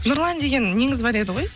нұрлан деген неңіз бар еді ғой